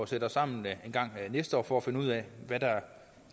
sætte os sammen engang næste år for at finde ud af hvad der